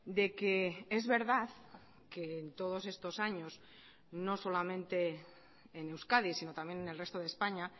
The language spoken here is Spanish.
de que es verdad que en todos estos años no solamente en euskadi sino también en el resto de españa